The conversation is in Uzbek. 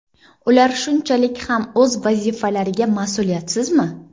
Ular shunchalik ham o‘z vazifalariga ma’suliyatsizmi?